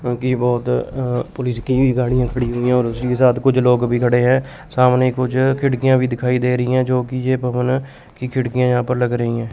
क्योंकि बहुत पुलिस की गाड़ियां खड़ी हुई हैं और उसी के साथ कुछ लोग भी खड़े हैं सामने कुछ खिड़कियां भी दिखाई दे रही हैं जोकि यह भवन की खिड़कियां यहां पर लग रही हैं।